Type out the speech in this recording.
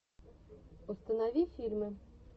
установи фильмы